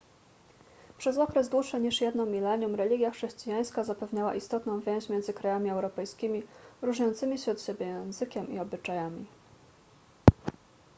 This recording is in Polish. przez okres dłuższy niż jedno milenium religia chrześcijańska zapewniała istotną więź między krajami europejskimi różniącymi się od siebie językiem i obyczajami